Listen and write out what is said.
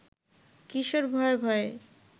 কিশোর ভয়ে ভয়ে